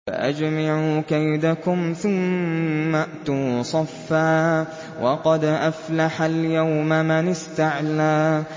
فَأَجْمِعُوا كَيْدَكُمْ ثُمَّ ائْتُوا صَفًّا ۚ وَقَدْ أَفْلَحَ الْيَوْمَ مَنِ اسْتَعْلَىٰ